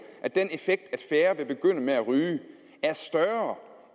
at den effekt at færre vil begynde at ryge er større